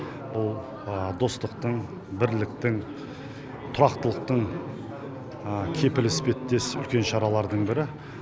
бұл достықтың бірліктің тұрақтылықтың кепілі іспеттес шаралардың бірі